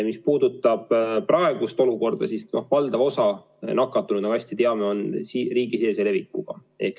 Mis puudutab praegust olukorda, siis valdav osa nakatumisest, nagu hästi teame, on riigisisese levikuga.